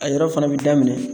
A yɔrɔ fana bɛ daminɛn